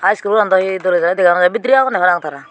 ah iskulan dow hi dega no jaar bidirey agonde parang tara.